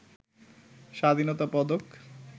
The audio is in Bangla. স্বাধীনতা পদক